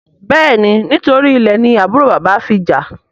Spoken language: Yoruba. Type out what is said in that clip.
béèni nítorí ilè ni àbúrò bàbá fí jà.